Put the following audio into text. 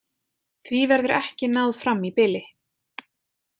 Því verður ekki náð fram í bili.